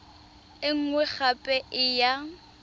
e nngwe gape e ya